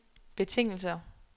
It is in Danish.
betingelser